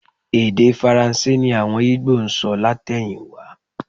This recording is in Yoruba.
Èdè Faransé ni àwọn Ìgbò ń sọ látẹ̀yìnwá